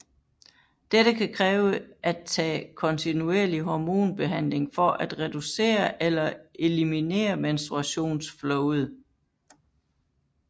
Dette kan kræve at tage kontinuerlig hormonbehandling for at reducere eller eliminere menstruationsflowet